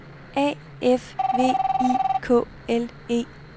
A F V I K L E